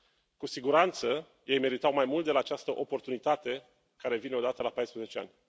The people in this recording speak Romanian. Cu siguranță ei meritau mai mult de la această oportunitate care vine o dată la 14 ani.